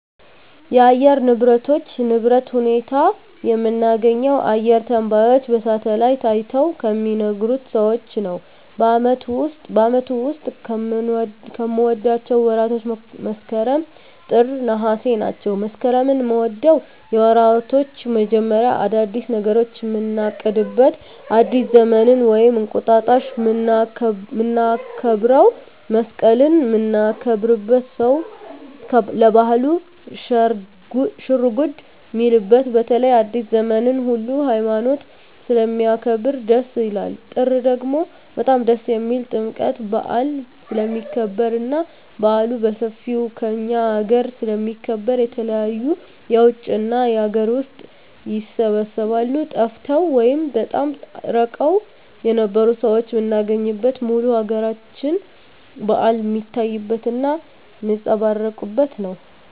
የአየር ንብረቶች ንብረት ሁኔታ የምናገኘው አየረ ተነባዩች በሳሀትአላይት አይተው ከሚናገሩት ሰዎች ነው በአመቱ ዉስጥ ከምወዳቸው ወራቶች መስከረም ጥር ነሃሴ ናቸው መስከረምን ምወደው የወራቶች መጀመሪያ አዳዲስ ነገሮችን ምናቅድበት አዲስ ዘመንን ወይም እንቁጣጣሽ ምናከብረው መሰቀልን ምናከብርበት ሰው ለባህሉ ሽርጉድ ሚልበት በተለይ አዲሰ ዘመንን ሁሉ ሀይማኖት ስለሚያከብር ደስ ይላል ጥር ደግሞ በጣም ደስ የሚልኝ ጥምቀት በአል ስለሚከበር እና በአሉ በሠፌው ከእኛ አገረ ስለሚከበር የተለያዩ የውጭ እና የአገር ውስጥ ይሰባሰባሉ ጠፍተው ወይም በጣም እርቀዉን የነበሩ ሠዎች ምናገኝበት ሙሉ የአገራችን በአል ሜታይበት እና ሜጸባረቅበት ነው